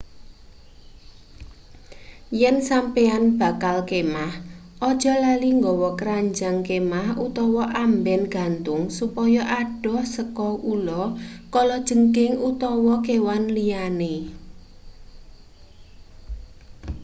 yen sampeyan bakal kemah ojo lali nggawa kranjang kemah utawa amben gantung supaya adoh saka ula kalajengking utawa kewan liyane